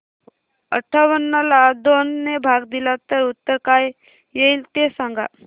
अठावन्न ला दोन ने भाग दिला तर उत्तर काय येईल ते सांगा